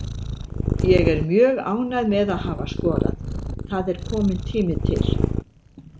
Ég er mjög ánægð með að hafa skorað, það er kominn tími til.